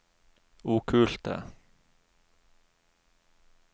okkulte